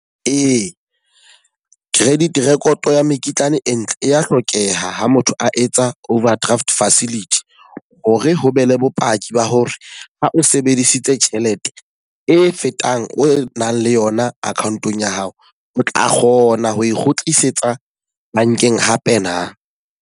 Ee, credit record ya mekitlane e ntle e ya hlokeha ha motho a etsa overdraft facility. Ho re ho be le bopaki ba hore ha o sebedisitse tjhelete e fetang o nang le yona account-ong ya hao, o tla kgona ho e kgutlisetsa bankeng hape na.